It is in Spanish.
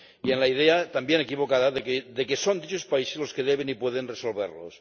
y en la idea también equivocada de que son dichos países los que deben y pueden resolverlos.